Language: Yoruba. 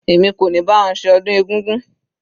Èmi kò ní bá wọn ṣe ọdún egúngún.